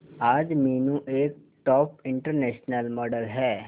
आज मीनू एक top international model है